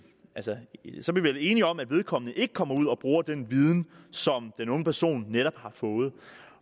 vel enige om at vedkommende ikke kommer ud og bruger den viden som den unge person netop har fået